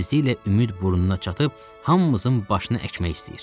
Tezliklə ümid burnuna çatıb hamımızın başını əkmək istəyir.